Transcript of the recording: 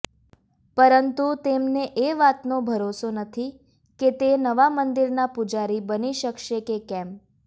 પરંતુ તેમને એ વાતનો ભરોસો નથી કે તે નવા મંદિરના પૂજારી બની શકશે કે કેમ